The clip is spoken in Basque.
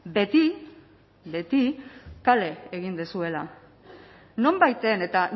beti beti kale egin duzuela nonbaiten eta